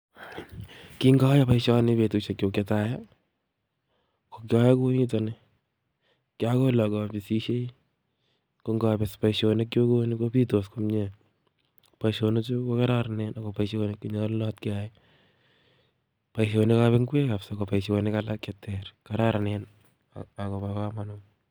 Ki ngoyoe boisioni en betusiek kyuk chetai kokiyoe kouniton ni kiakole akobisisie ko ngobis boisionik kouni kobitos komie boisionik chu kokororonen ako boisionik che nyolunot keyai. Boisionikab ngwek kabisa ko boisionik alak cheter kororonen akobo komonut